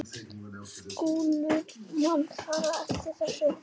Skilur mann bara eftir, þessi.